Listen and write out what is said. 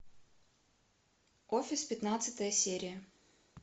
офис пятнадцатая серия